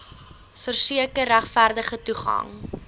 verseker regverdige toegang